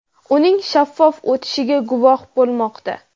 uning shaffof o‘tishiga guvoh bo‘lmoqda.